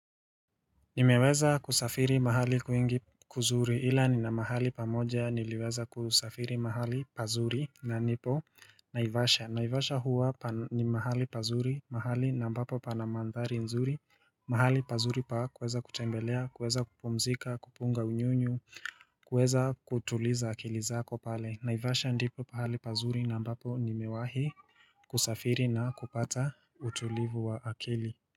Nimeweza kusafiri mahali kwingi kuzuri, ila nina mahali pamoja niliweza kusafiri mahali pazuri na nipo naivasha Naivasha huwa ni mahali pazuri, mahali na ambapo pana mandhari nzuri, mahali pazuri pa kuweza kutembelea, kuweza kupumzika, kupunga unyunyu, kuweza kutuliza akili zako pale Naivasha ndipo pahali pazuri na ambapo nimewahi kusafiri na kupata utulivu wa akili.